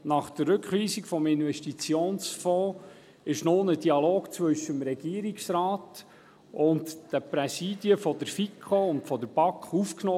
Nach der Rückweisung des Investitionsfonds wurde nun ein Dialog zwischen dem Regierungsrat und den Präsidien der FiKo und der BaK aufgenommen.